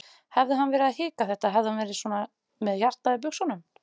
Hefði hann verið að hika þetta, hefði hann verið svona með hjartað í buxunum?